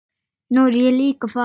Nú er ég líka farinn.